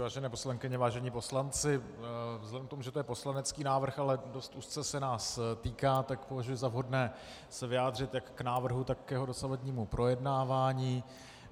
Vážené poslankyně, vážení poslanci, vzhledem k tomu, že to je poslanecký návrh, ale dost úzce se nás týká, tak považuji za vhodné se vyjádřit jak k návrhu, tak k jeho dosavadnímu projednávání.